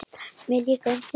Mér líka um þig.